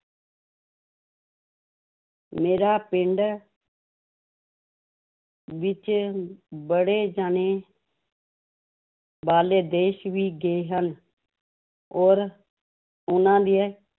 ਮੇਰਾ ਪਿੰਡ ਵਿੱਚ ਬੜੇ ਜਾਣੇ ਬਾਹਰਲੇ ਦੇਸ ਵੀ ਗਏ ਹਨ, ਔਰ ਉਹਨਾਂ ਦੇ